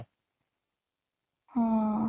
ହଁ